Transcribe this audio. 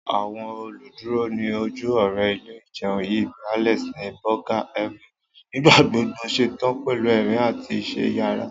Àwọn oluduro ni oju ore ile-ìjẹun yii bi Alex ni Burger Haven, nigbagbogbo ṣetan pẹlu ẹrin ati iṣẹ iyara.